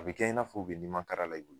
A bɛ kɛ i n'a fɔ u bɛ nimakara la i bolo.